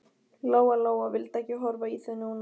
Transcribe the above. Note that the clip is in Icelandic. Lóa Lóa vildi ekki horfa í þau núna.